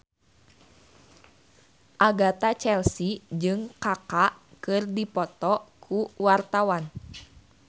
Agatha Chelsea jeung Kaka keur dipoto ku wartawan